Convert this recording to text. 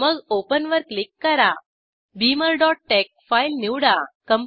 मग ओपन वर क्लिक करा beamerटेक्स फाईल निवडा